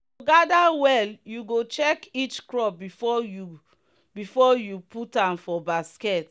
to gather well you go check each crop before you before you put am for basket.